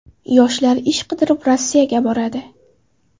Yoshlar ish qidirib Rossiyaga boradi.